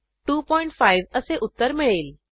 25 असे उत्तर मिळेल